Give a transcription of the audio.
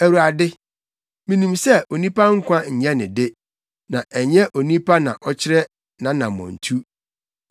Awurade, minim sɛ, onipa nkwa nyɛ ne de; na ɛnyɛ onipa na ɔkyerɛkyerɛ nʼanammɔntu.